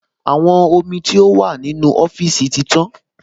Àwọn omi tó wà nínú ọ́fíìsì ti tán